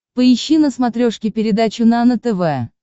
поищи на смотрешке передачу нано тв